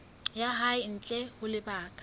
ya hae ntle ho lebaka